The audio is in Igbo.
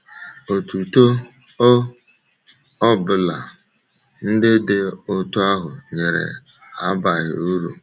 Otuto ọ bụla ndị dị otú ahụ nyere abaghị uru.